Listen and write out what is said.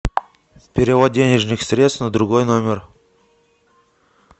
перевод денежных средств на другой номер